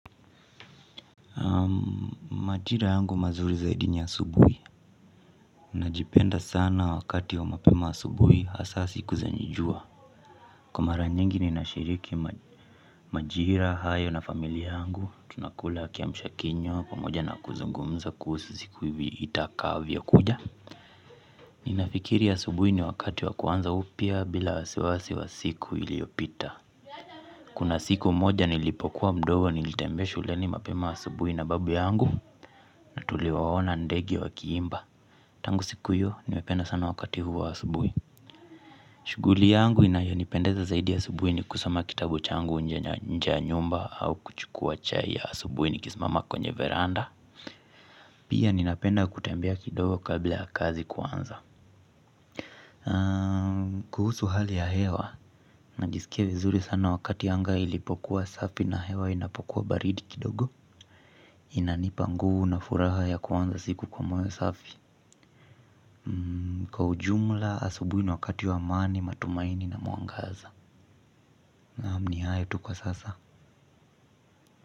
Naam, majira yangu mazuri zaidi ni asubuhi. Najipenda sana wakati wa mapema asubuhi hasa siku zenye jua. Kwa mara nyingi ninashiriki majira hayo na familia yangu, tunakula kiamsha kinywa, pamoja na kuzungumza kuhsu siku hivi itakavyokuja. Ninafikiri asubuhi ni wakati wa kuanza upya bila wasiwasi wa siku iliyopita. Kuna siku moja nilipokuwa mdogo nilitembea shuleni mapema asubuhi na babu yangu na tuliwaona ndege wakiimba. Tangu siku hiyo, nimependa sana wakati huo wa asubuhi. Shughuli yangu inayonipendeza zaidi asubuhi ni kusoma kitabu changu nje ya nyumba au kuchukua chai ya asubuhi nikisimama kwenye veranda. Pia ninapenda kutembea kidogo kabla ya kazi kuanza. Kuhusu hali ya hewa, najisikia vizuri sana wakati anga ilipokuwa safi na hewa inapokuwa baridi kidogo. Inanipa nguvu na furaha ya kuanza siku kwa moyo safi. Kwa ujumla, asubuhi ni wakati wa amani, matumaini na mwangaza. Naam, ni hayo tu kwa sasa.